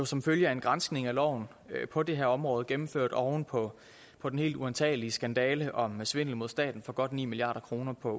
som følge af en granskning af loven på det her område gennemført oven på på den helt uantagelige skandale om svindel mod staten for godt ni milliard kroner på